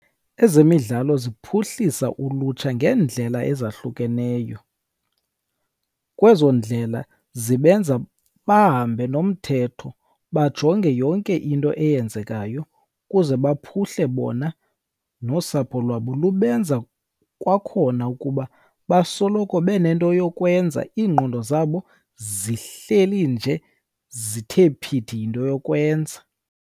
Ezemidlalo ziphuhlisa ulutsha ngeendlela ezahlukeneyo. Kwezo ndlela zibenza bahambe nomthetho, bajonge yonke into eyenzekayo ukuze baphuhle bona, nosapho lwabo, lubenza kwakhona ukuba basoloko benento yokwenza, iingqondo zabo zihleli nje zithe phithi yinto yokwenza.